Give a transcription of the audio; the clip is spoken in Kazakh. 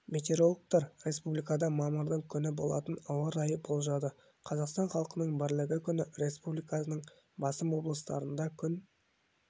метеорологтар республикада мамырдың күні болатын ауа райын болжады қазақстан халқының бірлігі күні республиканың басым облыстарында күн